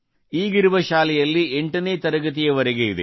ಈಗಿರುವ ಶಾಲೆಯಲ್ಲಿ 8 ನೇ ತರಗತಿಯವರೆಗೆ ಇದೆ